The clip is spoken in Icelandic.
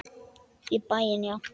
Í bæinn, já!